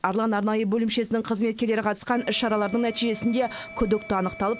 арлан арнайы бөлімшесінің қызметкерлері қатысқан іс шаралардың нәтижесінде күдікті анықталып